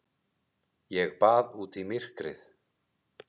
Ég bað út í myrkrið.